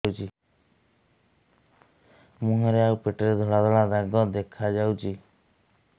ମୁହଁରେ ଆଉ ପେଟରେ ଧଳା ଧଳା ଦାଗ ଦେଖାଯାଉଛି